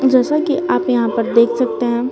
जैसा कि आप यहां पर देख सकते हैं।